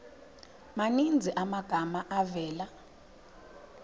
maninzi amagama avela